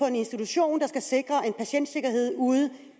en institution der skal sikre patientsikkerheden ude